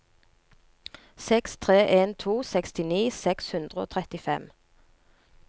seks tre en to sekstini seks hundre og trettifem